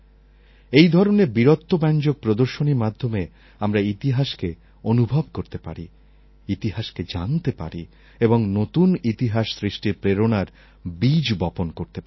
এই ধরণের বীরত্বব্যঞ্জক প্রদর্শনীর মাধ্যমে আমরা ইতিহাসকে অনুভব করতে পারি ইতিহাসকে জানতে পারি এবং নূতন ইতিহাস সৃষ্টির প্রেরণার বীজ বপন করতে পারি